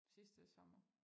Sidste sommer